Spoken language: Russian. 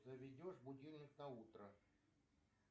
заведешь будильник на утро